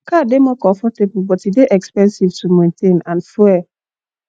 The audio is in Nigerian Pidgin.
car dey more comfortable but e dey expensive to maintain and fuel